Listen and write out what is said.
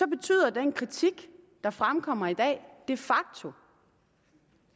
betyder den kritik der fremkommer i dag de facto